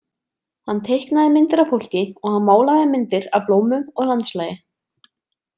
Hann teiknaði myndir af fólki og hann málaði myndir af blómum og landslagi.